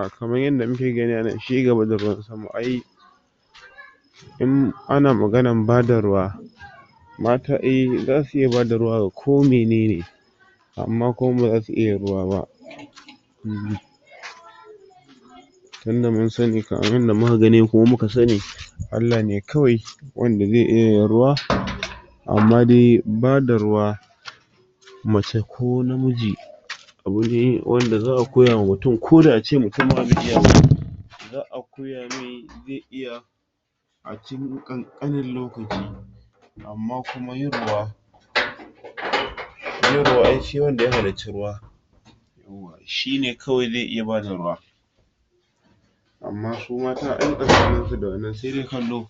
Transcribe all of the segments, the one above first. um kamar yadda muke gani anan cigaba da ruwan sama ai in ana maganan bada ruwa mata um zasu iya bada ruwa ga ko menene amma kuma ba zasu iya ruwa ba uhm abinda mun sani abinda muka gani kuma muka sani alla ne kawai wanda zai iya yin ruwa amma dai bada ruwa mace ko namiji abune wanda za'a koya ma mutum koda ace mutum ma bai iya ba za'a koya ami zai iya a cikin kankanen lokaci amma kuma yin ruwa yin ruwa ai sai wanda ya halicci ruwa shine kawai zai iya bada ruwa amma su mata ai tsakanin su da nan sai dai kallo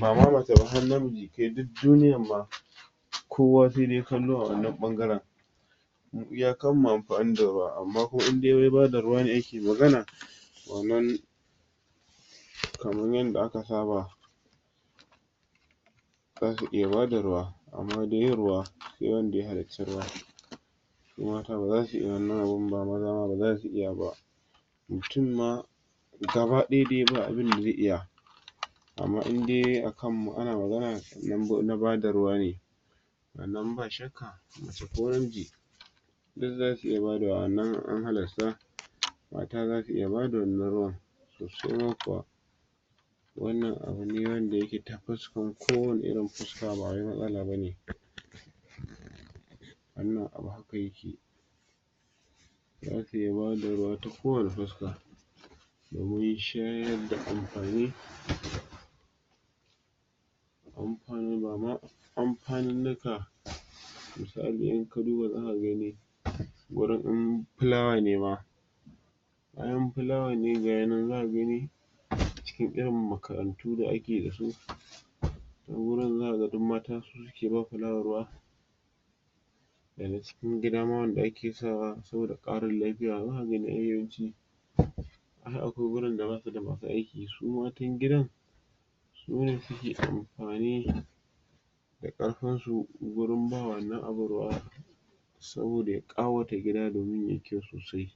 bama mace ba har namiji kai duk duniyar ma kowa sai dai kallo a wannan bangaren mu iya kanmu amfani da ruwa amma indai wai bada ruwa ne ake magana wannan kaman yanda aka saba zasu iya bada ruwa amma dai yin ruwa sai wanda ya halici ruwa su mata bazasu iya wannan abun ba maza ma ba zasu iya ba mutum ma gaba daya dai ba abinda zai iya amma indai ana magana akan na bada ruwa ne wannan ba shakka mace ko namiji su zasu iya bada wannan an halarta mata zasu iya bada wannan ruwan sosai ma kuwa wannan abune wanda yake ta fuskan ko wane irin fuska bawai matsala bane wannan abu haka yake zasu iya bada ruwa ta ko wane fuska domin shayar da amfani amfani bama anfaninika misali inka duba zaka gani gurin in flawa ne ma in plawan ne gaya nan zaka gani cikin irin makarantu da ake dasu wani wurin zaka ga mata su suke bama plawa ruwa dana cikin gida ma wanda ake sawa saboda karin lafiya zaka gani ai yawanci ai akwai gurin da basuda masu aiki su matan gidan sune suke amfani da karfin su wurin ba wannan abun ruwa saboda ya kawata gida da gun yayi kyau sosai